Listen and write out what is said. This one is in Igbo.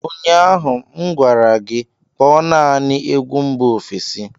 Ụnyaahụ m gwara gị, Kpọọ naanị egwu mba ofesi